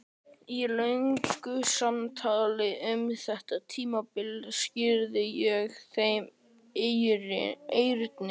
Í löngu samtali um þetta tímabil skýrði ég þeim Erni